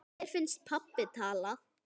Mér finnst pabbi tala.